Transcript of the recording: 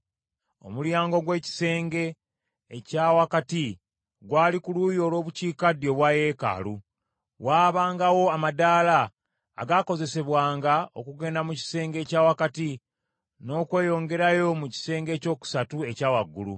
Omulyango ogw’ekisenge ekya wakati gwali ku luuyi olw’obukiikaddyo obwa yeekaalu; waabangawo amadaala agaakozesebwanga okugenda mu kisenge ekya wakati, n’okweyongerayo mu kisenge ekyokusatu ekya waggulu.